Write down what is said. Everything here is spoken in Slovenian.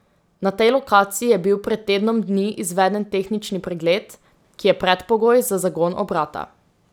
Na tej lokaciji je bil pred tednom dni izveden tehnični pregled, ki je predpogoj za zagon obrata.